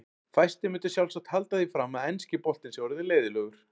Fæstir myndu sjálfsagt halda því fram að enski boltinn sé orðinn leiðinlegur.